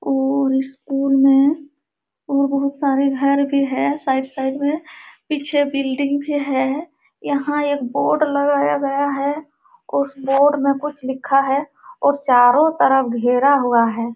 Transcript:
उ स्कूल में और बहुत सारे घर भी हैं साइड साइड में। पीछे बिल्डिंग भी है। यहाँ एक बोर्ड लगाया गया है। उस बोर्ड में कुछ लिखा है और चारों तरफ घेरा हुआ है।